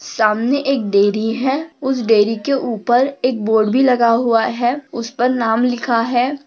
सामने एक डेअरी है। उस डेअरी के उपर एक बोर्ड भी लगा हुआ है। उसपर नाम लिखा है।